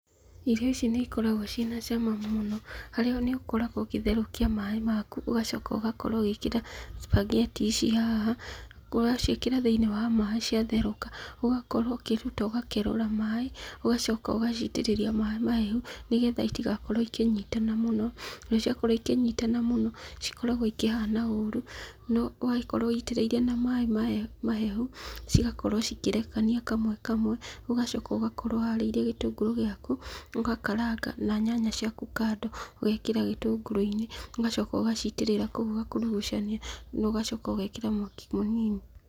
Irio ici nĩ ikoragwo ciĩna cama mũno mũno, haria nĩ ũkoragwo ũgĩtherũkia maaĩ maku, ũgacoka ũgakorwo ũgĩĩkĩra cupangeti ici haha. Waciĩkĩra thĩiniĩ wa maaĩ ciatherũka ũgaakorwo ũkĩruta ũgakerũra maaĩ, ũgacoka ũgaciitĩrĩria maaĩ mahehu, nĩgetha itigakorwo ikĩnyitana mũno, ũndũ cĩakorwo ikĩnyitana mũno, cikoragwo ikĩhana ũũru. No ũgagĩkorwo wũĩtĩrĩirie na maaĩ mahehu, cigakorwo cikĩrekania kamwe kamwe. Ũgacoka ũgakorwo ũharĩirie gĩtũngũrũ gĩaku, ũgakaranga na nyanya ciaku kando ũgekĩra gĩtũngũrũ-inĩ. Ũgacoka ũgaciitĩrĩra kũu ũgakurugucania, na ũgacoka ũgeekĩra mwaki mũnini.